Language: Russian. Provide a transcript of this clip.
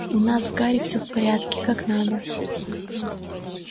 у нас с гарри всё в порядке как надо